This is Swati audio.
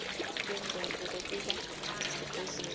kwengcondvo kwekuba sesibhedlela